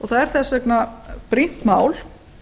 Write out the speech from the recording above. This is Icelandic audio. það er þess vegna brýnt mál